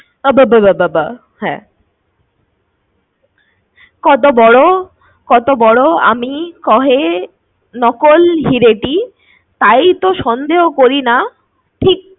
বা বা বা, হ্যাঁ। কত বড় কত বড় আমি কহে নকল হীরেটি তাই তো সন্দেহ করিনা